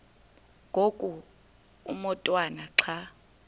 ngoku umotwana xa